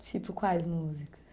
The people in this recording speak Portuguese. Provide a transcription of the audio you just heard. Tipo, quais músicas?